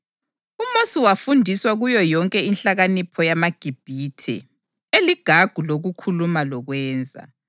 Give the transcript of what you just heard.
UMosi wafundiswa kuyo yonke inhlakanipho yamaGibhithe, eligagu lokukhuluma lokwenza.